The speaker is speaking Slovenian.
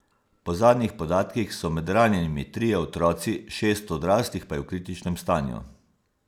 Po zadnjih podatkih so med ranjenimi trije otroci, šest odraslih pa je v kritičnem stanju.